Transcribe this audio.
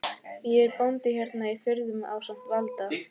Ég er bóndi hérna í firðinum ásamt Valda